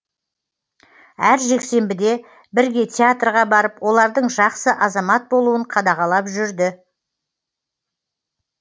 әр жексенбіде бірге театрға барып олардың жақсы азамат болуын қадағалап жүрді